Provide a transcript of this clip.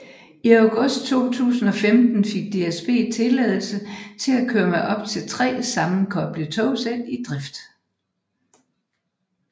I august 2015 fik DSB tilladelse til at køre med op til 3 sammenkoblede togsæt i drift